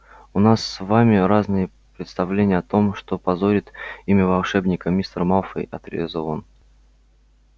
у нас с вами разные представления о том что позорит имя волшебника мистер малфой отрезал он